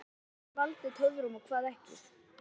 Hvað hefur valdið töfum og hvað ekki?